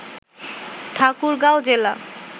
ঠাকুরগাঁও জেলা